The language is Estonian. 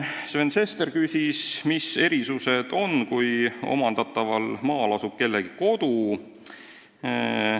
Sven Sester küsis, mis erisused on, kui omandataval maal asub kellegi kodu.